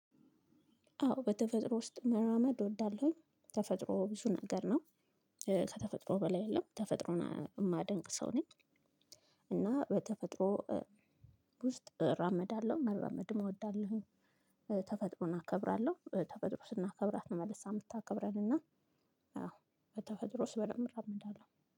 አዎ በተፈጥሮ ውስጥ መራመድ እወዳለሁኝ ተፈጥሮ ብዙ ነገር ነው። ከተፈጥሮ በላይ የለም ተፈጥሮን እማደንቅ ሰው ነኝ። እና በተፈጥሮ ውስጥ እራመዳለው መራመድም እወዳለሁኝ። ተፈጥሮን አከብራለሁ ተፈጥሮ ስናከብራት ነው መልሳ ምታከብረን እና። አዎ በተፈጥሮ ውስጥ በደንብ እራመዳለው